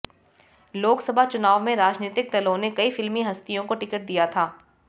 लोकसभा चुनाव में राजनीतिक दलों ने कई फिल्मी हस्तियों को टिकट दिया था